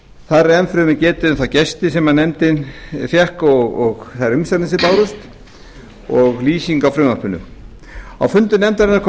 þar er enn fremur getið um þá gesti sem nefndin fékk og þær umsagnir sem bárust og lýsing á frumvarpinu á fundum nefndarinnar kom